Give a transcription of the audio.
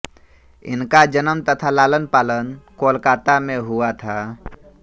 इनका जन्म तथा लालन पालन कोलकाता में हुआ था